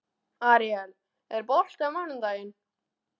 Aríel, er bolti á mánudaginn?